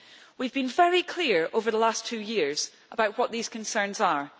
We have been very clear over the last two years, about what these concerns are.